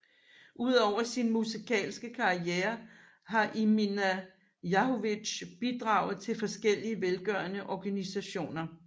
Udover sin musikalske karriere har Emina Jahović bidraget til forskellige velgørende organisationer